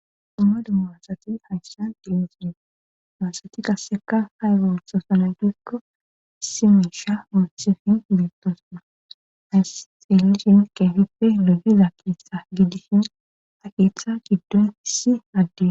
dumma dumma asati hayssan dinisme maasati qasseka haygootosanaydikko si mesha oontsifin betosuna hayselirin keefippe loliza keessa gidishin a keetha giddon hissi addee